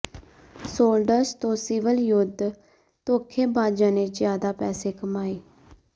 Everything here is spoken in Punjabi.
ਸੋਲਡਰਜ਼ ਤੋਂ ਸਿਵਲ ਯੁੱਧ ਧੌਖੇਬਾਜ਼ਾਂ ਨੇ ਜ਼ਿਆਦਾ ਪੈਸੇ ਕਮਾਏ